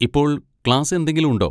ഇപ്പോൾ ക്ലാസ് എന്തെങ്കിലും ഉണ്ടോ?